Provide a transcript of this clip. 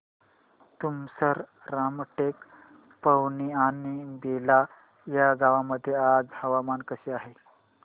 तुमसर रामटेक पवनी आणि बेला या गावांमध्ये आज हवामान कसे आहे